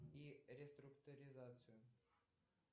и реструктуризацию